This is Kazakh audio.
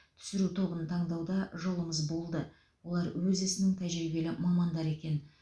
түсіру тобын таңдауда жолымыз болды олар өз ісінің тәжірибелі мамандары екен